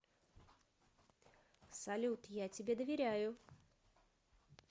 салют я тебе доверяю